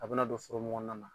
A bɛna don foro mun kɔnɔna na.